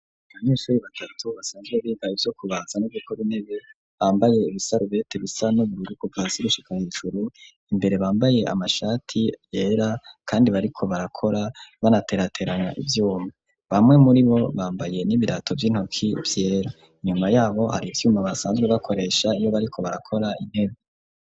Abanyeshure batatu basanzwe bibaye ivyo kubatsa n'ugukora intebe bambaye ibisarubete bisa no bururugu basigushikahejuru imbere bambaye amashati yera kandi bariko barakora banateraterana ibyuma bamwe muri bo bambaye n'ibirato by'intoki piera inyuma yabo hari ibyuma basanzwe bakoresha ibo bariko barakora intebe.